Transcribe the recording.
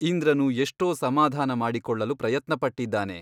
ಇಂದ್ರನು ಎಷ್ಟೋ ಸಮಾಧಾನ ಮಾಡಿಕೊಳ್ಳಲು ಪ್ರಯತ್ನಪಟ್ಟಿದ್ದಾನೆ.